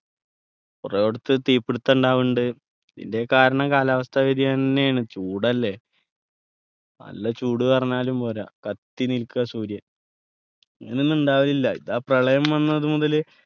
കൊറേടത്ത് തീപിടുത്തം ഉണ്ടാവുന്നുണ്ട് ഇത് കാരണം കാലാവസ്ഥ വ്യതിയാനം ന്നെയാണ് ചൂടല്ലെ നല്ല ചൂടുപറഞ്ഞാലും പോര കത്തിനിൽക്കാ സൂര്യൻ ഇങ്ങനൊന്നും ഉണ്ടാവലില്ല ഇതാ പ്രളയം വന്നതു മുതല്